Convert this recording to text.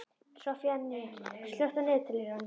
Soffanías, slökktu á niðurteljaranum.